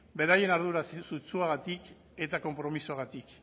beraien ardura sutsuagatik eta konpromisoagatik